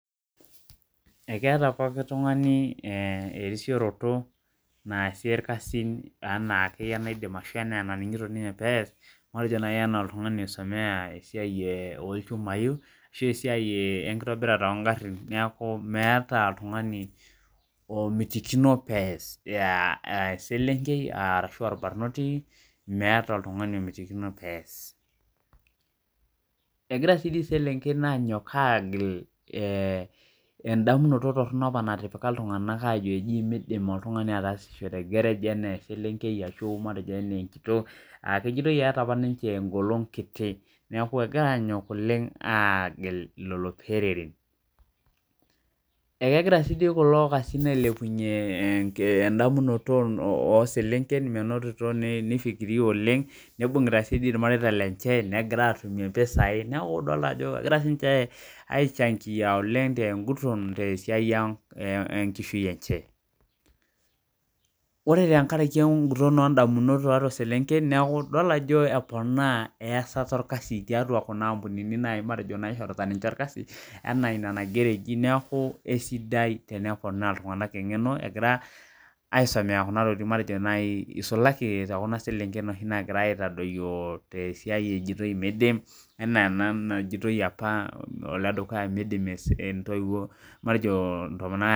Ekeeta pooki tungani erisiproto naasie ilkasin enaake aidim ashu enaningito ninye pees matejo na I enaa oltung'ani oisomea esiai olchumai ashu esiai enkitobirata oogharhin niaku meeta oltung'ani omitikino pees ee eselenkei arashu olbarnoti meeta oltungani omitikino pees Egira dii dii iselenken anyok agil endamunoto torhono opa natipika iltunganak ajo miidim oltungani ataasisho te gerej enaa eselenkei ashu matejo eneenkitok ashu amu ejitoi eeta apa ninche engolong kiti niaku egira aanyok oleng aagil lelo peereren Ekegira sii dii kulo tung'anak ailepunye endamunoto ooselenken menotito naa nifikiria oleng nibungita naa sii ilmareita lenche negira aatum impisai neeku idol ajo egira siininje aichangia oleng' tenguton ootesiai enkishui enje Ore tenkaraki enguton oondamunot ooselenken neeku idol ajo eponaa easata olkasi tookuna ampunini matejo naishorita ninche olkasi enaa ina naigero eji neeku esidai teneponaa iltunganak eng'eno egiara aisomea kuna tokiting matejo nai isulaki tookuna selenken oshi nagirai aitadoyio tesiai ejitoi miidim ena ena najitoi opa oledukuya miidim intoiwuo matejo intomonok aa